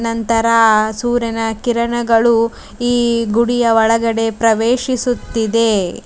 ನಂತರ ಆ ಸೂರ್ಯನ ಕಿರಣಗಳು ಈ ಗುಡಿಯ ಒಳಗಡೆ ಪ್ರವೇಶಿಸುತ್ತಿದೆ.